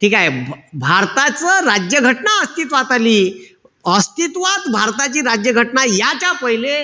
ठीकेय? भारताच राज्य घटना अस्तित्वात आली. अस्तित्वात भारताची राज्य घटना याच्या पहिले,